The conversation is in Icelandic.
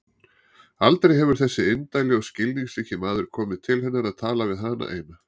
Aldrei hefur þessi indæli og skilningsríki maður komið til hennar að tala við hana eina.